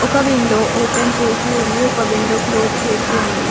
ఒక window open చేసి ఉంది ఒక విండో క్లోజ్ చేసి ఉంది.